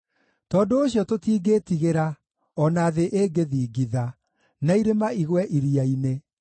Tondũ ũcio tũtingĩĩtigĩra, o na thĩ ĩngĩthingitha, na irĩma igwe iria-inĩ,